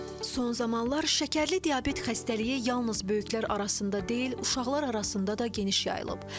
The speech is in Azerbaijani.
Son zamanlar şəkərli diabet xəstəliyi yalnız böyüklər arasında deyil, uşaqlar arasında da geniş yayılıb.